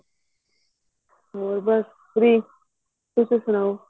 ਮੈਂ ਬਸ free ਤੁਸੀਂ ਸੁਣਾਓ